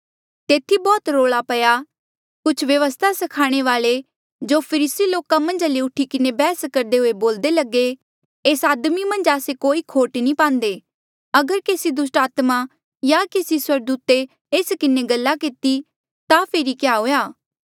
तेथी बौह्त रौल्आ पया कुछ व्यवस्था स्खाणे वाल्ऐ जो फरीसी लोका मन्झा ले थे उठी किन्हें बैहस करदे हुए बोल्दे लगे एस आदमी मन्झ आस्से कोई खोट नी पांदे अगर केसी दुस्टात्मे या केसी स्वर्गदूते एस किन्हें गल्ला किती ता फेरी क्या हुएया